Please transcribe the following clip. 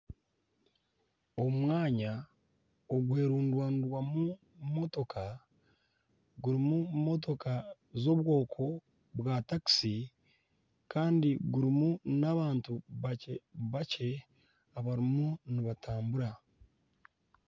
Omwanya ogwerundanirwamu motoka zirimu motoka za takisi kandi gurimu n'abantu bakye bakye abarimu nibatambura .